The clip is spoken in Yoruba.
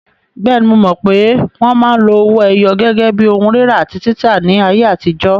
Bẹ́ẹ̀ni, mo mọ̀ pé wọn máa ń lo owó ẹyọ gẹ́gẹ́ bí ohun rírà àti títà ní ayé àtijọ́.